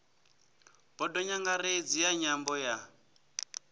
bodo nyangaredzi ya nyambo ya